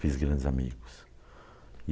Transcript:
Fiz grandes amigos.